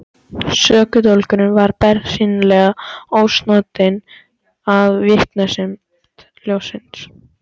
Sökudólgurinn var bersýnilega ósnortinn af vinsemd ljónsins.